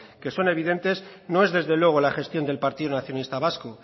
que son evidentes no es desde luego la gestión del partido nacionalista vasco